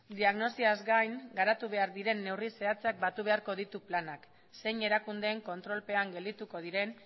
diagnosiaz gain garatu behar diren neurri zehatzak batu beharko ditu planak zein erakundeen kontrolpean geldituko diren